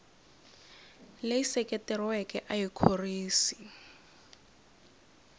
leyi seketeriweke a yi khorwisi